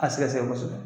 A sɛgɛsɛgɛ kosɛbɛ